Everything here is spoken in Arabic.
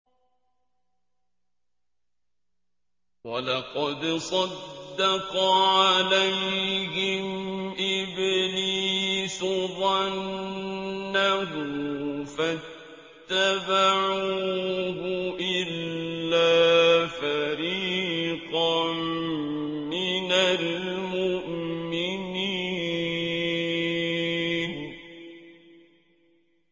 وَلَقَدْ صَدَّقَ عَلَيْهِمْ إِبْلِيسُ ظَنَّهُ فَاتَّبَعُوهُ إِلَّا فَرِيقًا مِّنَ الْمُؤْمِنِينَ